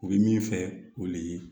U bɛ min fɛ o de ye